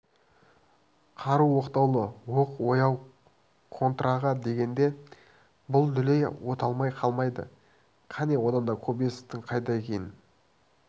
қару оқтаулы оқ ояу контраға дегенде бұл дүлей оталмай қалмайды кәне одан да кобозевтің қайда екенін